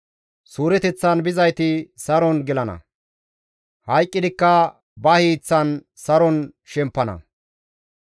Suureteththan bizayti saron gelana; hayqqidikka ba hiiththan saron shemppana.